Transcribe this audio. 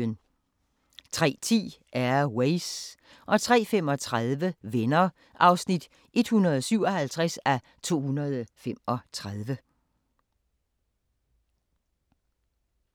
03:10: Air Ways 03:35: Venner (157:235)